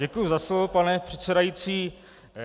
Děkuji za slovo, pane předsedající.